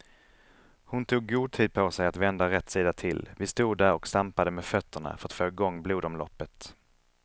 Hon tog god tid på sig att vända rätt sida till, vi stod där och stampade med fötterna för att få igång blodomloppet.